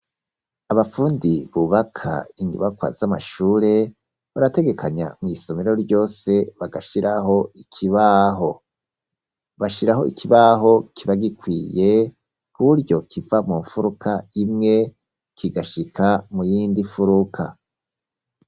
Abafundi bubaka inyubakwa z'amashure barategekanya mw'isomero ryose bagashiraho ikibaho. Bashiraho ikibaho kiba gikwiye kuburyo kiva mu mfuruka imwe kigashika mu yindi mfuruka.